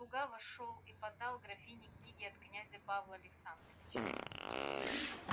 слуга вошёл и подал графине книги от князя павла александровича